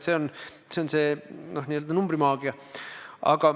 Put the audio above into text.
See on see n-ö numbrimaagia.